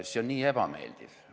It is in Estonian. See on nii ebameeldiv.